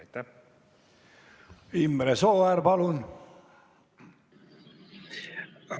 Imre Sooäär, palun!